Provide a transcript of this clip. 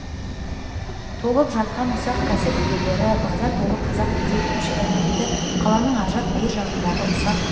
толып жатқан ұсақ кәсіп иелері базар толы қазақ кедей-кепшігі тіпті қаланың ар жақ бер жағындағы ұсақ